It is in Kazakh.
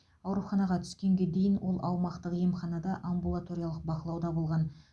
ауруханаға түскенге дейін ол аумақтық емханада амбулаториялық бақылауда болған